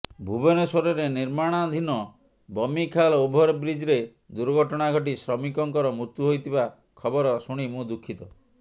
ଭୁବନେଶ୍ୱରରେ ନିର୍ମାଣାଧୀନ ବମିଖାଲ ଓଭରବ୍ରିଜ୍ରେ ଦୁର୍ଘଟଣା ଘଟି ଶ୍ରମିକଙ୍କର ମୃତ୍ୟୁ ହୋଇଥିବା ଖବର ଶୁଣି ମୁଁ ଦୁଃଖିତ